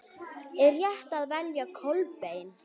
Er rétt að velja Kolbein?